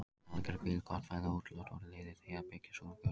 Alger hvíld, gott fæði og útiloft voru liðir í því að byggja sjúklinginn upp.